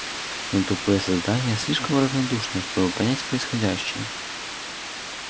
но тупые создания слишком равнодушные чтобы понять происходящее